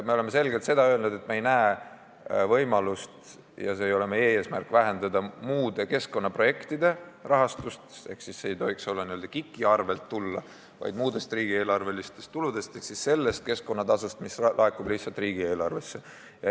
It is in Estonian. Me oleme selgelt öelnud, et me ei näe võimalust ja meie eesmärk ei ole vähendada muude keskkonnaprojektide rahastust ehk see ei tohiks n-ö KIK-i arvel tulla, vaid peaks tulema muudest riigieelarvelistest tuludest ehk sellest keskkonnatasust, mis laekub lihtsalt riigieelarvesse.